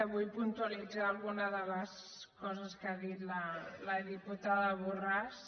vull puntualitzar algunes de les coses que ha dit la diputada borràs